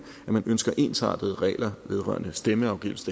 man ønsker ensrettede regler vedrørende stemmeafgivelse